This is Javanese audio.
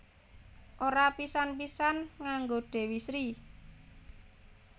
Ora pisan pisan nganggo Dewi Sri